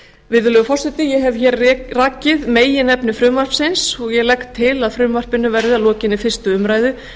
virðulegur forseti ég hef hér rakið meginefni frumvarpsins ég legg til að frumvarpinu verði að lokinni fyrstu umræðu